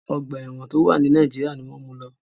Ọ̀gba ẹ̀wọ̀n tó wà ni Nàìjíríà ni wọ́n mu lọ..